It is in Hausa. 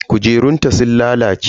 Kujerunta sun lalace.